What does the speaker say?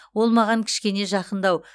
ол маған кішкене жақындау